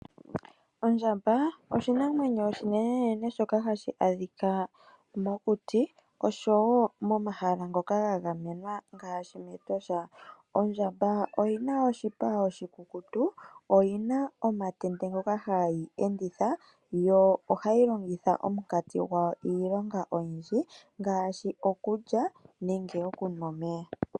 Ondjamba osho oshinamwenyo oshinenenene shoka hashi adhika mokuti oshowo momahala ngono ga gamenwa ngaashi mEtosha . Ondjamba oyina oshipa oshikukutu . Oyina omatende ngoka hayi enditha yo ohayi longitha omunkanti gwawo iilonga oyindji ngaashi okulya nenge okunwa omeya .